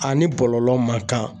A ni bɔlɔlɔ man kan